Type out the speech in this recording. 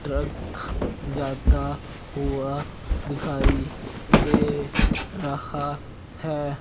Truck जाता हुआ दिखाई दे रहा है।